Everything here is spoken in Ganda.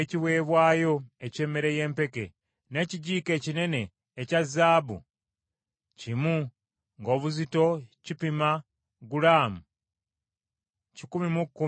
n’ekijiiko ekinene ekya zaabu kimu ng’obuzito kipima gulaamu kikumi mu kkumi, nga kijjudde ebyakaloosa;